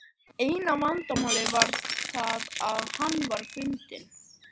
Og þeir Sturlungar sem enn lifa.